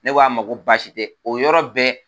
Ne ko a ma ko baasi tɛ o yɔrɔ bɛɛ